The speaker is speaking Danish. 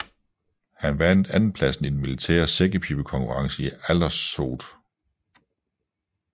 Han vandt andenpladsen i den militære sækkepibekonkurrence i Aldershot